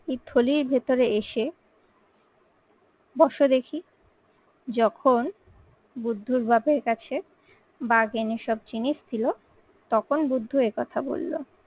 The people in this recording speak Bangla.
এই থলির ভেতরে এসে বসো দেখি যখন বুদ্ধর বাপের কাছে, বাঘ এনে সব জিনিস দিল তখন বুদ্ধ এ কথা বলল।